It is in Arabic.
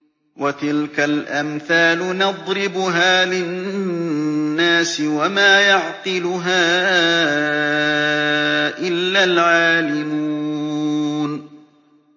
وَتِلْكَ الْأَمْثَالُ نَضْرِبُهَا لِلنَّاسِ ۖ وَمَا يَعْقِلُهَا إِلَّا الْعَالِمُونَ